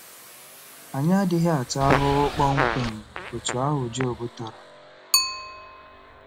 Anyị adịghị ata ahụhụ kpọmkwem otú ahụ Job tara.